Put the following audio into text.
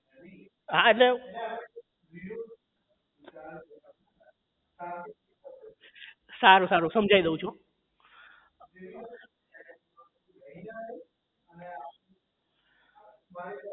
હા એટલે સારું સારું સમજાઈ દઉં છું